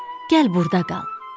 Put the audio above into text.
Gəl burda qal.